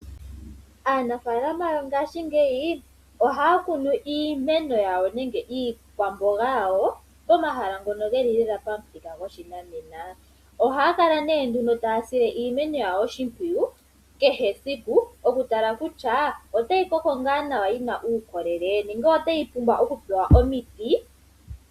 Aanafalama yongashingeyi ohaya kunu iikwamboga yawo nenge iimeno yawo pomahala ngoka geli pamuthika goshinanena ohaya kala ihe taa sile iimeno yawo oshipwiyu kehe esiku .Okutala kutya otayi koko ngaa nawa yina uukolele nenge ota yi pumbwa okupewa omiti.